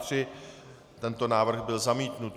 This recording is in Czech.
Tento návrh byl zamítnut.